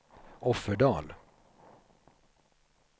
Offerdal